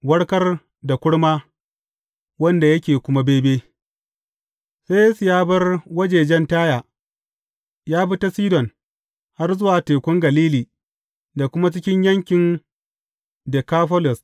Warkar da kurma wanda yake kuma bebe Sai Yesu ya bar wajajen Taya, ya bi ta Sidon har zuwa Tekun Galili da kuma cikin yankin Dekafolis.